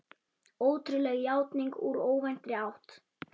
Ótrúleg játning úr óvæntri átt